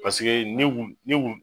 Paseke nin kun nin kun